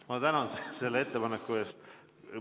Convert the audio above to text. Ma tänan selle ettepaneku eest!